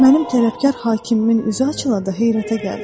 Mənim tərəfkar hakimin üzü açıla da heyrətə gəldim.